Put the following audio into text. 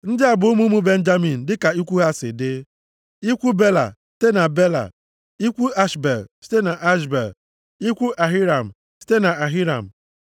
Ndị a bụ ụmụ ụmụ Benjamin dịka ikwu ha si dị: ikwu Bela site na Bela, ikwu Ashbel site Ashbel, ikwu Ahiram site na Ahiram.